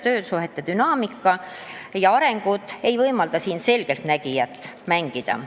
Töö- ja töösuhete dünaamika ja areng ei võimalda siin selgeltnägijat mängida.